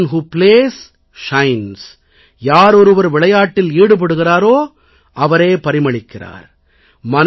they person who plays shines யாரொருவர் விளையாட்டில் ஈடுபடுகிறாரோ அவரே பரிமளிக்கிறார்